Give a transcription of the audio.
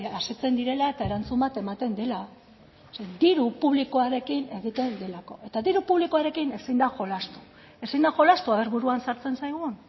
asetzen direla eta erantzun bat ematen dela zeren diru publikoarekin egiten delako eta diru publikoarekin ezin da jolastu ezin da jolastu a ver buruan sartzen zaigun